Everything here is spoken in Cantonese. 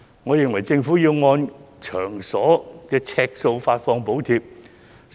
我認為政府要按場所呎數發放補貼。